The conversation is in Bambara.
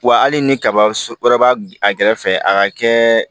Wa hali ni kaba wɛrɛ b'a a kɛrɛfɛ a ka kɛ